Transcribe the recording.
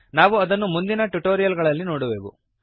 ನಾವು ಅದನ್ನು ಮುಂದಿನ ಟ್ಯುಟೋರಿಯಲ್ ಗಳಲ್ಲಿ ನೋಡುವೆವು